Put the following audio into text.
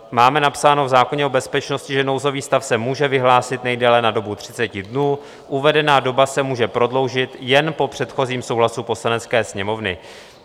Máme napsáno v zákoně o bezpečnosti, že nouzový stav se může vyhlásit nejdéle na dobu 30 dnů, uvedená doba se může prodloužit jen po předchozím souhlasu Poslanecké sněmovny.